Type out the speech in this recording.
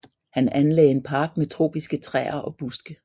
Han anlagde en park med tropiske træer og buske